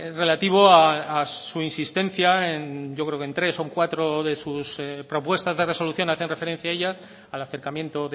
relativo a su insistencia en yo creo que en tres o cuatro de sus propuestas de resolución hacen referencia a ella al acercamiento